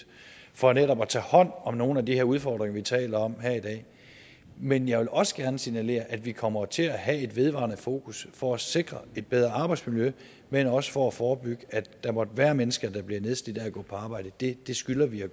for netop at tage hånd om nogle af de her udfordringer vi taler om her i dag men jeg vil også gerne signalere at vi jo kommer til at have et vedvarende fokus for at sikre et bedre arbejdsmiljø men også for at forebygge at der måtte være mennesker der bliver nedslidte af at gå på arbejde det skylder vi at